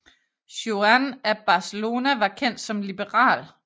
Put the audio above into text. Juan af Barcelona var kendt som liberal